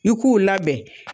I k'uu labɛn.